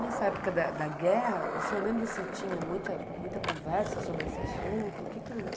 Nessa época da da guerra, o senhor lembra se tinha muita muita conversa sobre esse assunto? O que que o